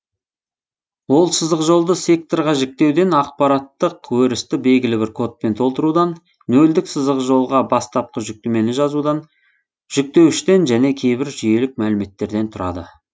ол сызықжолды секторға жіктеуден ақпараттық өрісті белгілі бір кодпен толтырудан нөлдік сызықжолға бастапқы жүктемені жазудан жүктеуіштен және кейбір жүйелік мәліметтерден тұрады